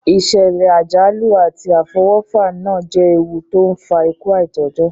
Ìsẹ̀lẹ̀ àjálù àti àfọwọ́fà náà je ewu to n fa ikú aitọ́jọ́